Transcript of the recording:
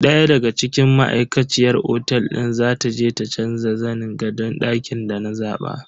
Daya daga cikin ma'aikaciyar otel din za ta je ta canza zanin gadon dakin da na zaba.